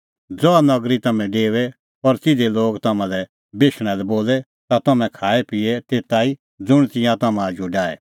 ज़हा नगरी तम्हैं डेओए और तिधे लोग तम्हां लै बेशणा लै बोले ता तम्हैं खाएपिए तेता ई ज़ुंण तिंयां तम्हां आजू डाहे